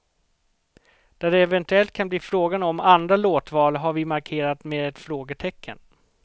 Där det eventuellt kan bli fråga om andra låtval har vi markerat med ett frågetecken.